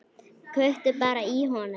Kveiktu bara í honum.